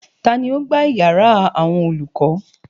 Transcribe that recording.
Tani ó gbá yàrá àwọn olùkọ́?